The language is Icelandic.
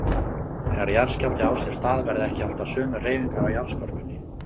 Þegar jarðskjálfti á sér stað verða ekki alltaf sömu hreyfingar á jarðskorpunni.